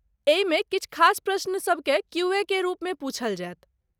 एहिमे किछु खास प्रश्न सबकेँ क्यू.ए. के रूपमे पूछल जायत।